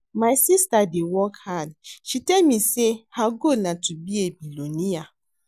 My sister dey work hard. She tell me say her goal na to be a billionaire